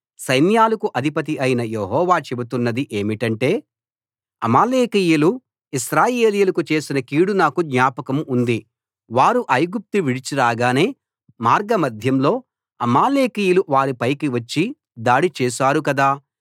సైన్యాలకు అధిపతి అయిన యెహోవా చెబుతున్నది ఏమిటంటే అమాలేకీయులు ఇశ్రాయేలీయులకు చేసిన కీడు నాకు జ్ఞాపకం ఉంది వారు ఐగుప్తు విడిచి రాగానే మార్గ మధ్యంలో అమాలేకీయులు వారిపైకి వచ్చి దాడి చేశారు కదా